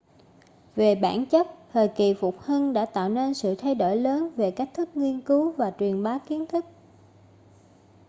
về bản chất thời kỳ phục hưng đã tạo nên sự thay đổi lớn về cách thức nghiên cứu và truyền bá kiến thức